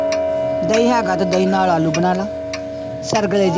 ਦਹੀ ਹੈਗਾ ਤਾਂ ਦਹੀਂ ਨਾਲ ਆਲੂ ਬਣਾ ਲਾ ਸਰਗਲੇ ਦੇ